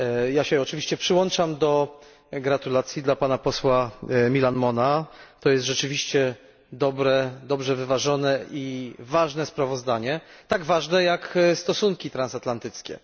Ja się oczywiście przyłączam do gratulacji dla pana posła Millán Mona, to jest rzeczywiście dobre, dobrze wyważone i ważne sprawozdanie, tak ważne, jak stosunki transatlantyckie.